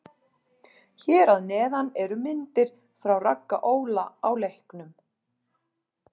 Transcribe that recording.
Hér að neðan eru myndir frá Ragga Óla á leiknum.